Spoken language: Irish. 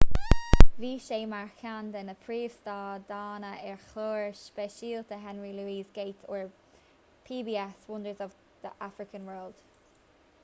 bhí sé mar cheann de na príomh-stadanna ar chlár speisialta henry louis gates ar pbs wonders of the african world